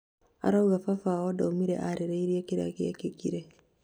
arauga baba wao ndaũmire arĩrĩirie kĩria gĩekĩkire